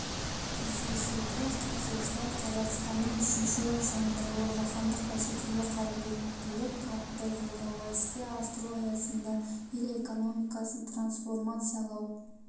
кездесуге қатысушылар қазақстанның үшінші жаңғыруы жаһандық бәсекеге қабілеттілік атты жолдауды іске асыру аясында ел экономикасын трансформациялау